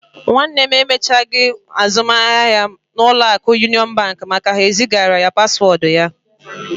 My brother could not complete his transaction because Union Bank refused to send him one-time password.